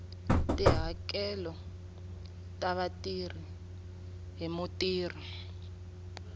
tihakelo ta vatirhi hi mutirhi